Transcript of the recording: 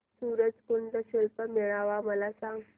सूरज कुंड शिल्प मेळावा मला सांग